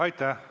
Aitäh!